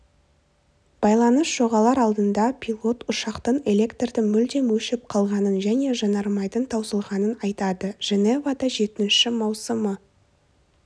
байланыс жоғалар алдында пилот ұшақтың электрдің мүлдем өшіп қалғанын және жанармайдың таусылғанын айтады женевада жетінші маусымы